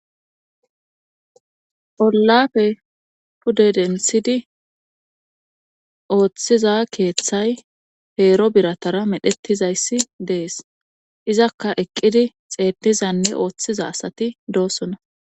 Olafe pudedensidi ooththiza keeththay heero biratara medhettizayssi dees izakka eqqidi xeennizanne ooththiza asati doosona.